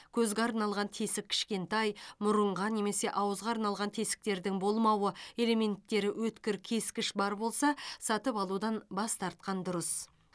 көзге арналған тесік кішкентай мұрынға немесе ауызға арналған тесіктердің болмауы элементтері өткір кескіш бар болса сатып алудан бас тартқан дұрыс